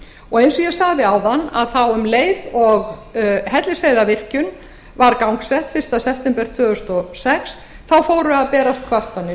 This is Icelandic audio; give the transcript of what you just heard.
og eins og ég sagði áðan um leið og hellisheiðarvirkjun var gangsett fyrsta september tvö þúsund og sex fóru að berast kvartanir